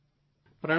પ્રણામ સર